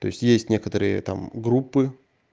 то есть есть некоторые там группы